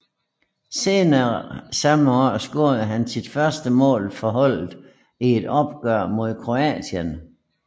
Senere samme år scorede han sit første mål for holdet i et opgør mod Kroatien